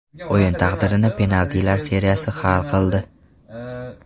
O‘yin taqdirini penaltilar seriyasi hal qildi.